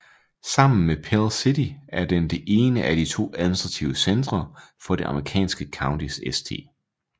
Sammen med Pell City er den det ene af de to administrative centrer for det amerikanske county St